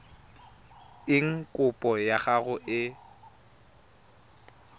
eng kopo ya gago e